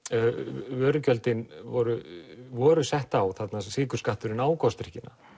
vörugjöldin voru voru sett á þarna sykurskatturinn á gosdrykkina